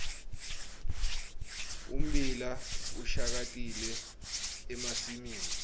ummbila ushakatile emasimini